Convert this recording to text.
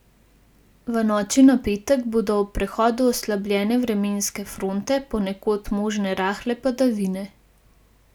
V noči na petek bodo ob prehodu oslabljene vremenske fronte ponekod možne rahle padavine.